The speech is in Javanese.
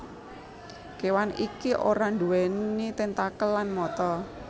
Kewan iki ora nduweni tentakel lan mata